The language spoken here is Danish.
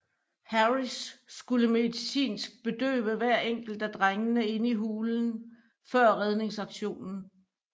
Harris skulle medicinsk bedøve hver enkelt af drengene inde i hulen før redningsaktionen